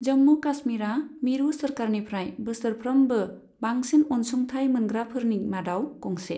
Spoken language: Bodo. जम्मू काश्मीरा मिरु सोरखारनिफ्राय बोसोरफ्रोमबो बांंसिन अनसुंथाय मोनग्राफोरनि मादाव गंसे।